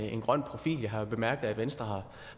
en grøn profil jeg har jo bemærket at venstre